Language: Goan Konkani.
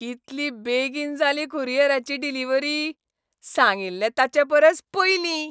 कितली बेगीन जाली कुरियराची डिलिव्हरी. सांगिल्लें ताचेपरसय पयलीं!